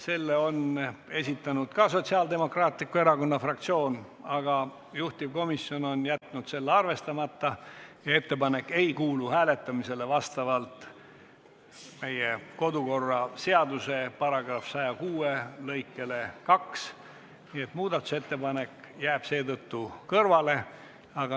Selle on esitanud Sotsiaaldemokraatliku Erakonna fraktsioon, aga kuna juhtivkomisjon on jätnud selle arvestamata, siis vastavalt meie kodu- ja töökorra seaduse § 106 lõikele 2 ei kuulu see ettepanek hääletamisele.